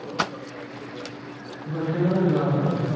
তবে সেভাবে যাওয়া হয়না।